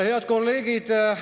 Head kolleegid!